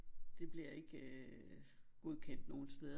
Det bliver ikke øh godkendt nogen steder